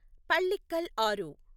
పల్లిక్కల్ ఆరు